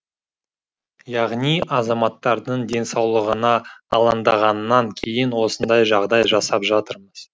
яғни азаматтардың денсаулығына алаңдағаннан кейін осындай жағдай жасап жатырмыз